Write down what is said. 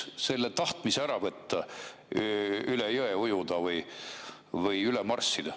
See ju aitaks ära võtta tahtmise üle jõe ujuda või üle marssida.